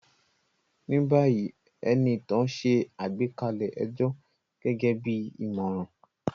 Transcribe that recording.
Ní báyìí, Enitan ṣe àgbékalẹ̀ ẹjọ́ gẹ́gẹ́ bí ìmọ̀ràn